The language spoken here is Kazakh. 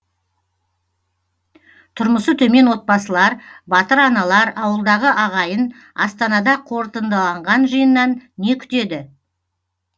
тұрмысы төмен отбасылар батыр аналар ауылдағы ағайын астанада қорытындыланған жиыннан не күтеді